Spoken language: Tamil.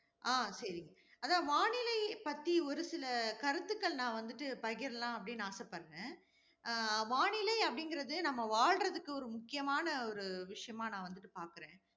அஹ் சரி. அதான் வானிலை பத்தி ஒரு சில கருத்துக்கள் நான் வந்துட்டு பகிரலாம் அப்படின்னு ஆசைப்படுறேன். அஹ் வானிலை அப்படிங்கிறதே நம்ம வாழ்றதற்கு ஒரு முக்கியமான ஒரு விஷயமா நான் வந்துட்டு பார்க்கிறேன்.